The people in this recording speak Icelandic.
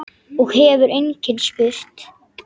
Og hefur einskis spurt.